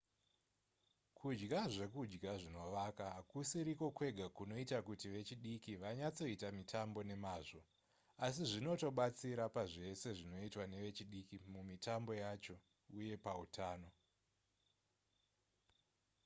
kudya zvekudya zvinovaka hakusiriko kwega kunoita kuti vechidiki vanyatsoita mitambo nemazvo asi zvinotobatsira pazvese zvinoitwa nevechidiki mumitambo yacho uye pautano